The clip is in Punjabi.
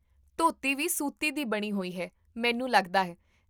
ਧੋਤੀ ਵੀ ਸੂਤੀ ਦੀ ਬਣੀ ਹੋਈ ਹੈ, ਮੈਨੂੰ ਲੱਗਦਾ ਹੈ